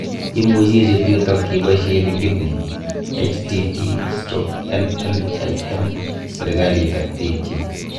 Imuchii ichuut yutook ipaishee linkit nii htt:/nnlm. serikaliit ak piik chik.